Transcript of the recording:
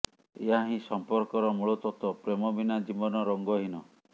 ଏହା ହିଁ ସର୍ମ୍ପକର ମୁଳତତ୍ୱ ପ୍ରେମବିନା ଜୀବନ ରଙ୍ଗ ହୀନ